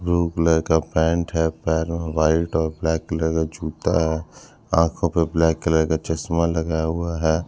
Blue colour का pant है पैरों में व्हाइट और ब्लैक कलर का जूता है आंखों पे ब्लैक कलर का चश्मा लगा हुआ हैं।